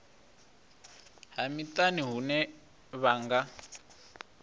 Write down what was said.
ha miṱani hune vha nga